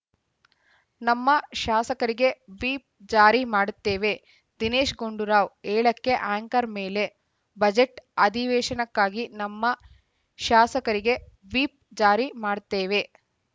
ನಮ್ಮ ಶಾಸಕರಿಗೆ ವಿಪ್‌ ಜಾರಿ ಮಾಡ್ತೇವೆ ದಿನೇಶ್‌ ಗುಂಡೂರಾವ್‌ ಏಳಕ್ಕೆ ಆ್ಯಂಕರ್‌ ಮೇಲೆ ಬಜೆಟ್‌ ಅಧಿವೇಶನಕ್ಕಾಗಿ ನಮ್ಮ ಶಾಸಕರಿಗೆ ವಿಪ್‌ ಜಾರಿ ಮಾಡ್ತೇವೆ